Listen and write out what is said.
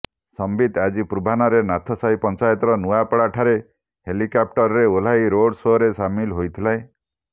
ସମ୍ବିତ ଆଜି ପୂର୍ବାହ୍ନରେ ନାଥସାହି ପଂଚାୟତର ନୂଆପଡା ଠାରେ ହେଲିକ୍ୟାପ୍ଟରରେ ଓହ୍ଲାଇ ରୋଡ ସୋରେ ସାମିଲ ହୋଇଥିଲେ